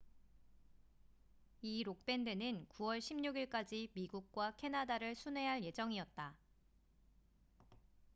이 록 밴드는 9월 16일까지 미국과 캐나다를 순회할 예정이었다